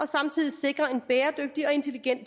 samtidig sikre en bæredygtig og intelligent